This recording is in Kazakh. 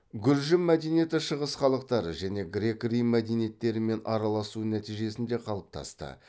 гүржі мәдениеті шығыс халықтары және грек рим мәдениеттерімен араласу нәтижесінде қалыптасты